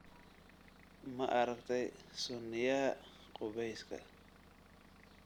Ma aragtay sunniyaha qubeyska?